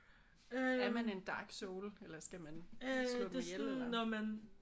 Er man en Dark Soul eller skal man slå dem ihjel eller?